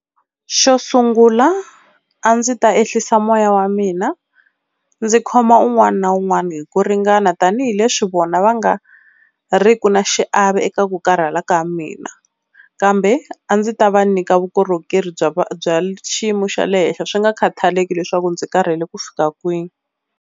Xo sungula a ndzi ta ehlisa moya wa mina ndzi khoma un'wana na un'wana hi ku ringana tanihileswi vona va nga riki na xiave eka ku karhala ka mina, kambe a ndzi ta va nyika vukorhokeri bya bya xiyimo xa le henhla swi nga khathaleki leswaku ndzi karhele ku fika kwini.